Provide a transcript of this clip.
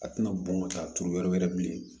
A tɛna bɔn ka taa turu yɔrɔ wɛrɛ bilen